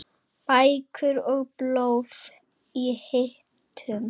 Bækur og blöð í hillum.